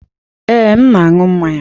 Ee, m na-aṅụ mmanya.